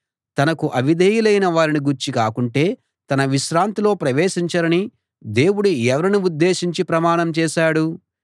తనకు అవిధేయులైన వారిని గూర్చి కాకుంటే తన విశ్రాంతిలో ప్రవేశించరని దేవుడు ఎవరిని ఉద్దేశించి ప్రమాణం చేశాడు